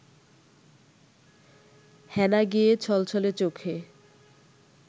হেনা গিয়ে ছলছলে চোখে